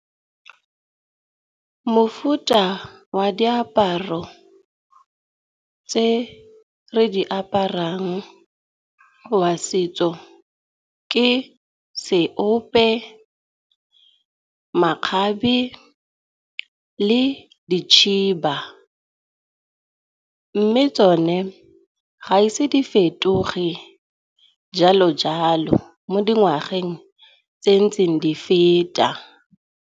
Mofuta wa diaparo tse re di aparang wa setso ke seope, makgabe le dikhiba. Mme tsone ga ise di fetoge jalo jalo mo dingwageng tse ntseng di feta.